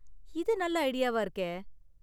இது நல்ல ஐடியாவா இருக்கே!